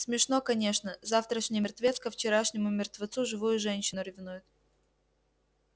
смешно конечно завтрашний мертвец ко вчерашнему мертвецу живую женщину ревнует